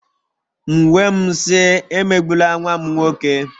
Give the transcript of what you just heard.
M wee m sị, emegbula nwa m nwoke!